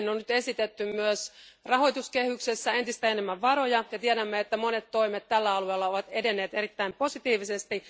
Siihen on nyt esitetty myös rahoituskehyksessä entistä enemmän varoja, ja tiedämme, että monet toimet tällä alalla ovat edenneet erittäin positiivisesti.